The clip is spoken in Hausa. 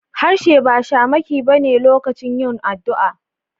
Harshe ba shamaki ba ne lokacin yin addu'a.